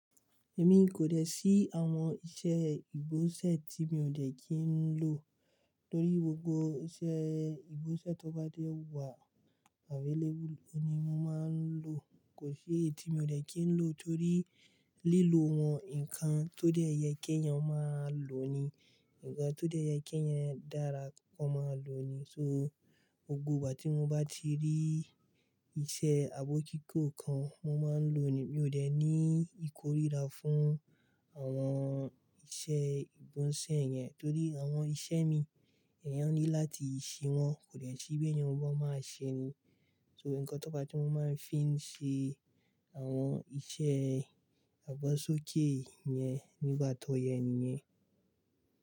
Èmi kò dẹ̀ sí àwọn iṣẹ́ ìgbóǹṣẹ́ tí mi ò dẹ̀ kí n lọ. Tórí gbogbo iṣẹ́ ìgbóǹṣẹ́ tó bá dé wà available, ni mo máa ń lò. Kò sí èyí tí mi ò dẹ̀ kí n lò torí lílò wọn, nǹkan tó dẹ́yẹ kí ènìyàn máa lò ni. Ǹkan tó dẹ́yẹ kí èyàn dára kọ́ máa lò ni. So, gbogbo ìgbà tí mo bá ti rí iṣẹ́ abọ́kíkó kan, mo máa ń lò ni. Mi ò dẹ̀ ní ìkóríra fún àwọn iṣẹ́ ìgbóǹṣẹ́ yẹn torí àwọn iṣẹ́ mi, èyàn ní láti ṣe wọ́n. Kò dẹ̀ sí bí èèyàn bá máa ṣe ní. Nnkan tó bá ti mú e fi n se awọn iṣẹ agbasoke yen nígbà to yé nìyẹn.